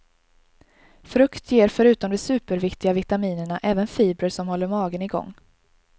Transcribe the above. Frukt ger förutom de superviktiga vitaminerna även fibrer som håller magen i gång.